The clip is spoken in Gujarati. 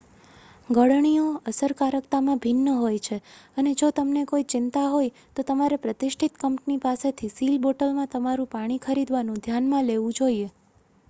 ગળણીઓ અસરકારકતામાં ભિન્ન હોય છે અને જો તમને કોઈ ચિંતા હોય તો તમારે પ્રતિષ્ઠિત કંપની પાસેથી સીલ બોટલમાં તમારું પાણી ખરીદવાનું ધ્યાનમાં લેવું જોઈએ